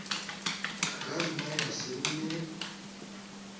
ka nna ya se nne